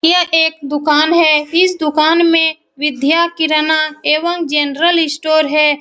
यह एक दुकान है। इस दुकान में विद्या किराना एवम जेनरल स्टोर है।